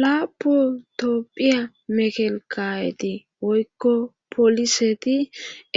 lapotopphiya mekelkayeti woykko pooliseti